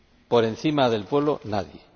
Por encima del pueblo, nadie.